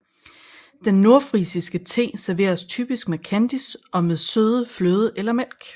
Den nordfrisiske te serveres typisk med kandis og med søde fløde eller mælk